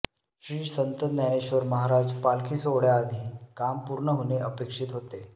श्री संत ज्ञानेश्वर महाराज पालखी सोहळ्याआधी काम पूर्ण होणे अपेक्षित होते